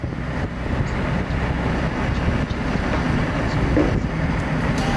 посмотреть футбольный матч манчестер юнайтед с ньюкаслом